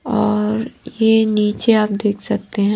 और ये नीचे आप देख सकते हैं--